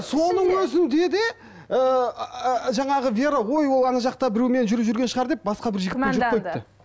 соның өзінде де ыыы жаңағы вера ой ол ана жақта біреумен жүріп жүрген шығар деп басқа бір жігітпен жүріп қойыпты